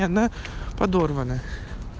и она подорванная